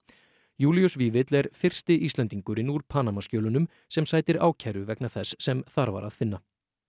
Júlíus Vífill er fyrsti Íslendingurinn úr Panamaskjölunum sem sætir ákæru vegna þess sem þar var að finna